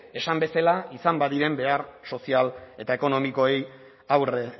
esan bezala izan badiren behar sozial eta ekonomikoei aurre